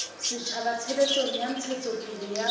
setjhaba tshebetsong ya ntshetsopele ya